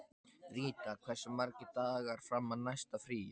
Ríta, hversu margir dagar fram að næsta fríi?